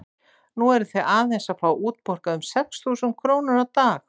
Nú eru þið aðeins að fá útborgað um sex þúsund krónur á dag?